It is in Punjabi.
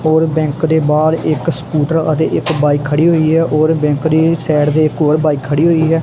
ਹੋਰ ਬੈਂਕ ਦੇ ਬਾਹਰ ਇੱਕ ਸਕੂਟਰ ਅਤੇ ਇੱਕ ਬਾਈਕ ਖੜੀ ਹੋਈ ਹੈ ਔਰ ਬੈਂਕ ਦੀ ਸਾਈਡ ਦੇ ਇੱਕ ਹੋਰ ਬਾਈ ਖੜੀ ਹੋਈ ਹੈ।